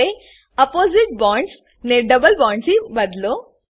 હવે opposite bonds ને double bonds થી બદલો